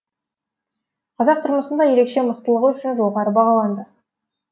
қазақ тұрмысында ерекше мықтылығы үшін жоғары бағаланды